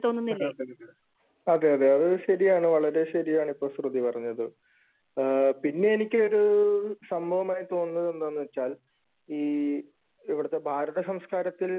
അതേയതെ , അത് ശരിയാണ്. വളരെ ശരിയാണിപ്പോ ശ്രുതി പറഞ്ഞത്. പിന്നെ എനിക്ക് ഒരു സംഭവമായി തോന്നുന്നത് എന്ന് വച്ചാൽ ഈ ഇവിടത്തെ ഭാരതസംസ്കാരത്തിൽ